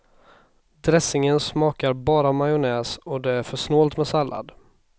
Dressingen smakar bara majonnäs och det är för snålt med sallad.